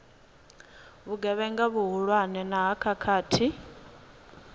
vhugevhenga vhuhulwane na ha khakhathi